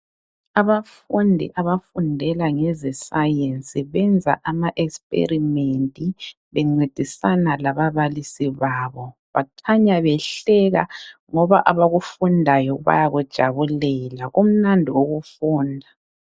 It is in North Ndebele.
Abafundi abafundela ngezescience benza amaexperiment bencedisana lababalisi babo. Bakhanya behleka ngoba abakufundayo bayakujabulela kumnandi ukufunda.